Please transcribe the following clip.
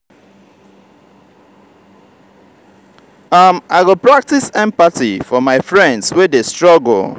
um i go practice empathy for my friends wey dey struggle.